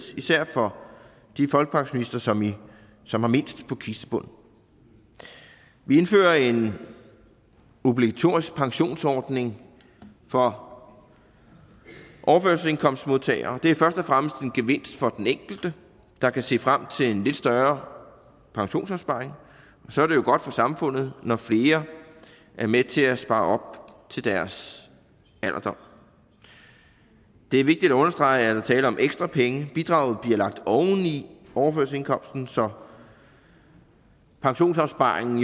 især for de folkepensionister som som har mindst på kistebunden vi indfører en obligatorisk pensionsordning for overførselsindkomstmodtagere det er først og fremmest en gevinst for den enkelte der kan se frem til en lidt større pensionsopsparing og så er det jo godt for samfundet når flere er med til at spare op til deres alderdom det er vigtigt at understrege er tale om ekstra penge bidraget bliver lagt oven i overførselsindkomsten så pensionsopsparingen